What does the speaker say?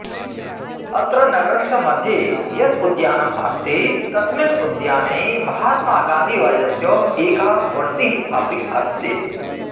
अत्र नगरस्य मध्ये यत् उद्यानम् अस्ति तस्मिन् उद्याने महात्मागान्धीवर्यस्य एका मूर्तिः अपि अस्ति